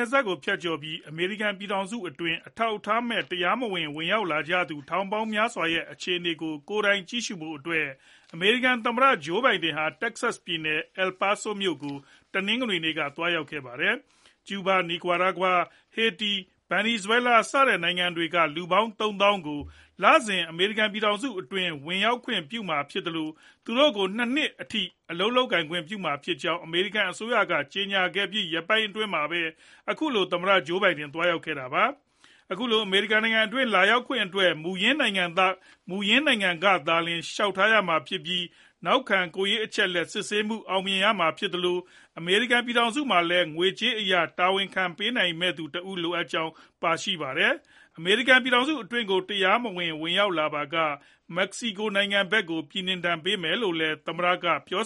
ယ်စပ်ကို ဖြတ်ကျော်ပြီး အမေရိကန်ပြည်ထောင်စုအတွင်း အထောက်အထားမဲ့ တရားမဝင် ဝင်ရောက်လာကြသူ ထောင်ပေါင်းများစွာရဲ့ အခြေအနေကို ကိုယ်တိုင်ကြည့်ရှုဖို့အတွက် အမေရိကန်သမ္မတ Joe Biden ဟာ Texas ပြည်နယ် El Paso မြို့ကို တနင်္ဂနွေနေ့က သွားရောက်ခဲ့ပါတယ်။ ကျူးဘား ၊ နီကာရာဂွာ ၊ ဟေတီ နဲ့ ဗင်နီဇွဲလား စတဲ့နိုင်ငံတွေက လူပေါင်း ၃ သောင်း ကို လစဉ် အမေရိကန်ပြည်ထောင်စုအတွင်း ဝင်ရောက်ခွင့်ပြုမှာ ဖြစ်သလို သူတို့ကို ၂ နှစ်အထိ အလုပ်လုပ်ခွင့် ပြုမှာဖြစ်ကြောင်း အမေရိကန်အစိုးရက ကြေညာခဲ့ပြီး ရက်ပိုင်းအတွင်းမှာပဲ အခုလို သမ္မတ ဂျိုးဘိုင်ဒန် သွားရောက်တာ ဖြစ်ပါတယ်။ အခုလို အမေရိကန်နိုင်ငံတွင်း လာရောက်ခွင့်အတွက် မူရင်းနိုင်ငံကသာလျှင် လျှောက်ထားရမှာဖြစ်ပြီး နောက်ခံ ကိုယ်ရေးအချက်အလက် စစ်ဆေးမှု အောင်မြင်ရမှာဖြစ်သလို အမေရိကန်ပြည်ထောင်စုမှာလည်း ငွေကြေးအရ တာဝန်ခံ ပေးနိုင်ရမယ့်သူတဦး လိုအပ်ကြောင်းလည်း ပါရှိပါတယ်။ အမေရိကန်ပြည်ထောင်စု အတွင်းကို တရားမဝင် ဝင်ရောက်လာပါက Mexico နိုင်ငံဖက်ကို ပြည်နှင်ဒဏ် ပေးမယ်လို့လည်း သမ္မတ က ပြော